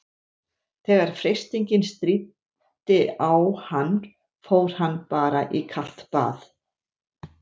Þegar freistingin stríddi á hann fór hann bara í kalt bað.